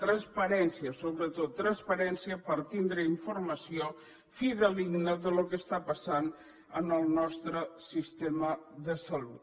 transparència sobretot transparència per tindre informació fidedigna del que està passant en el nostre sistema de salut